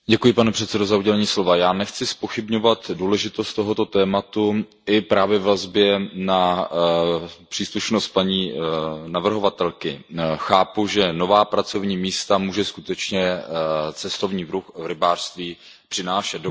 Pane předsedající, já nechci zpochybňovat důležitost tohoto tématu i ve vazbě na příslušnost paní navrhovatelky. Chápu, že nová pracovní místa může skutečně cestovní ruch v rybářství přinášet.